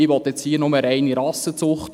Hier will ich nur reine Rassenzucht.